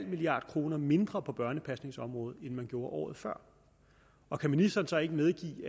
milliard kroner mindre på børnepasningsområdet end man gjorde året før og kan ministeren så ikke medgive